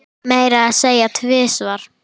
Orsök bilunar?